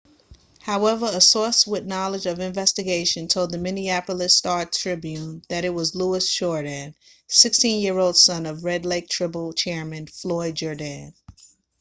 however a source with knowledge of the investigation told the minneapolis star-tribune that it was louis jourdain 16-year old son of red lake tribal chairman floyd jourdain